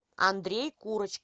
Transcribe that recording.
андрей курочкин